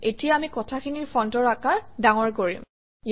এতিয়া আমি কথাখিনিৰ ফণ্টৰ আকাৰ ডাঙৰ কৰিম